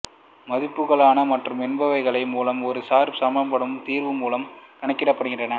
மதிப்புகளான மற்றும் என்பவைகள் மூலம் ஒரு சார் சமன்பாடு தீர்வு மூலம் கணக்கிடப்படுகின்றன